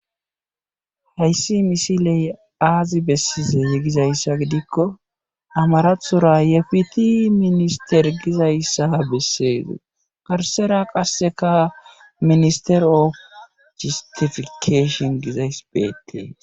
Hayssi misile aazi bessize gizayssa gidikko amarathora yrfitii minister gizayssaa bessees garssara qasseka minester ofi jesttifikaeeeshin gizayssi beetees.